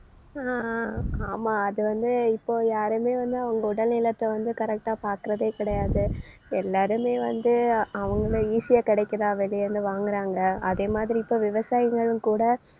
அஹ் அஹ் ஆமா அதுவந்து இப்போ யாருமே வந்து அவங்க உடல் நலத்தை வந்து correct ஆ பார்க்கிறதே கிடையாது எல்லாருமே வந்து அவங்கள easy ஆ கிடைக்குதா வெளிய இருந்து வாங்குறாங்க. அதே மாதிரி இப்ப விவசாயிங்களும் கூட